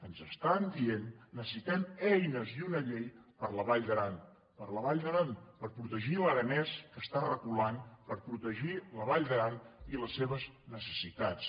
ens estan dient necessitem eines i una llei per a la vall d’aran per a la vall d’aran per protegir l’aranès que està reculant per protegir la vall d’aran i les seves necessitats